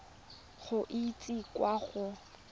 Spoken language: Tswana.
go e isa kwa go